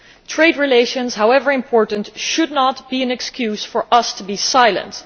Trade relations, however important, should not be an excuse for us to be silent.